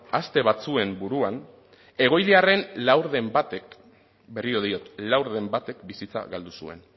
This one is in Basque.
aste batzuen buruan egoiliarren laurden batek berriro diot laurden batek bizitza galdu zuen